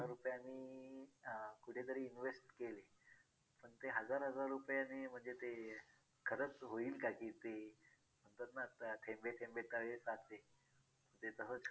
तर त्याच्यावर आपण कुठेतरी पाणी फेरण्यासारख आपण ते ना म्हणजे बोलतात ना आपलं काही हक्क नाही बनत त्यांच्या एवढ्या मेहनतीवर पाणी फिरवणे.